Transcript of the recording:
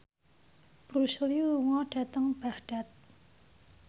Bruce Lee lunga dhateng Baghdad